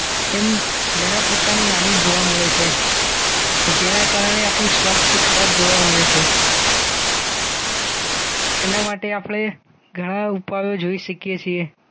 એમ ઘણા પ્રકારની હાનિ જોવા મળે છે જેના કારણે આપણું સ્વાસ્થ્ય ખરાબ જોવા મળે છે એના માટે આપણે ઘણા ઉપાયો જોઈ શકીએ છીએ